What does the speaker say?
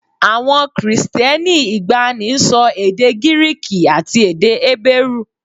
Àwọn Kristẹni ìgbàanì ń sọ èdè Gíríìkì àti èdè Hébérù